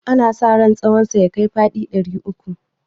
ana sa ran tsahonsa ya kai faɗi ɗari uku